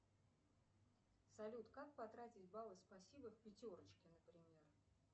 салют как потратить баллы спасибо в пятерочке например